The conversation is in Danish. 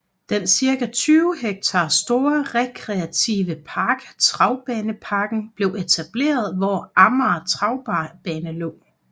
Den cirka 20 hektar store rekreative park Travbaneparken blev etableret hvor Amager Travbane lå